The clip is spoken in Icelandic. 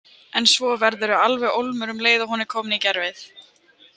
En svo verðurðu alveg ólmur um leið og hún er komin í gervið.